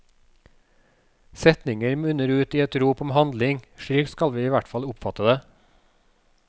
Setningen munner ut i et rop om handling, slik skal vi i hvert fall oppfatte det.